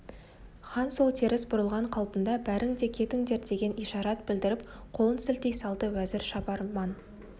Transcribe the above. хан сол теріс бұрылған қалпында бәрің де кетіңдер деген ишарат білдіріп қолын сілтей салды уәзір шабарман